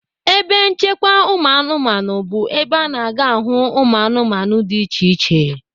Ebe nchekwa ụmụanụmanụ bụ ebe a na-aga ahụ ụmụanụmanụ dị iche iche.